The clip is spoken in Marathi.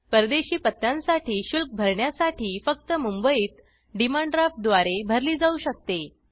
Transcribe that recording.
परदेशी पत्त्यांसाठी शुल्क भरण्यासाठी फक्त मुंबईत डिमांड ड्राफ्ट द्वारे भरली जाऊ शकते